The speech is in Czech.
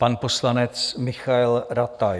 Pan poslanec Michael Rataj.